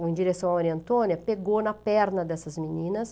em direção à Maria Antônia, pegou na perna dessas meninas.